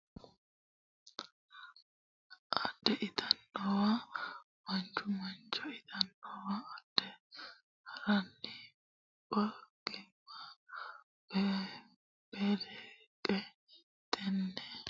adhe ittannowa Mancho Mancho ittannowa adhe ha ranni banqimma beleqqe Tenne keeshshiishinonsare afa hooge ikkitonni ilate yannara Bujjuure Mullarella hasaamboommo !